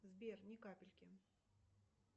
сбер ни капельки